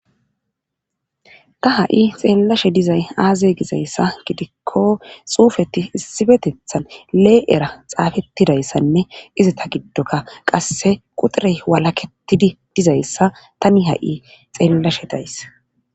ta ha7i xeellashe dizay aaze gizayssa gidikko xuufeti issifetethan lee7era xaafettidayssanne izata giddonkka qasse quxirey walaketidi dizayssa tani ha7i xeellashe days.